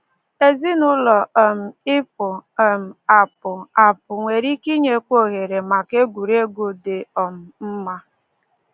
Ezinụụlọ um ịpụ um apụ apụ nwere ike inyekwu ohere maka egwuregwu dị um mma.